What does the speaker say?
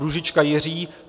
Růžička Jiří